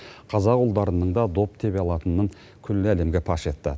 қазақ ұлдарының да доп тебе алатынын күллі әлемге паш етті